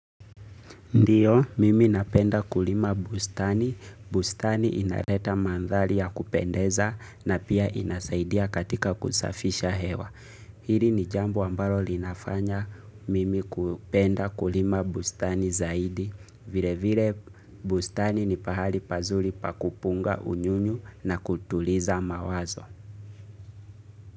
Ndiyo, mimi napenda kulima bustani, bustani inaleta mandhari ya kupendeza na pia inasaidia katika kusafisha hewa. Hili ni jambo ambaro linafanya mimi kupenda kulima bustani zaidi, vile vile bustani ni pahali pazuri pa kupunga unyunyu na kutuliza mawazo.